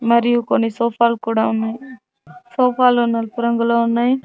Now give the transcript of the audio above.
మరియు కొన్ని సోఫా లు కూడా ఉన్నాయి సోఫా లు నలుపు రంగులో ఉన్నాయి.